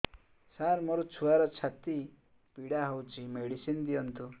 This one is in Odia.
ସାର ମୋର ଛୁଆର ଛାତି ପୀଡା ହଉଚି ମେଡିସିନ ଦିଅନ୍ତୁ